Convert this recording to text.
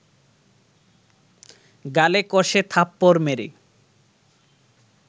গালে কষে থাপ্পড় মেরে